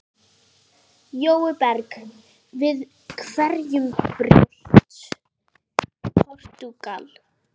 Jói Berg: Við hverju bjóst Portúgal?